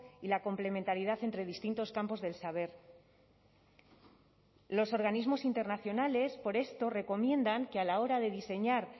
y la complementariedad entre distintos campos del saber los organismos internacionales por esto recomiendan que a la hora de diseñar